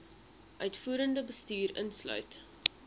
uitvoerende bestuur insluit